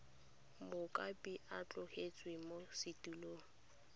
mokopi a tlositswe mo setulong